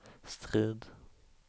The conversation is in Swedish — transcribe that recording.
Strid